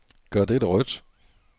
Gør dette rødt.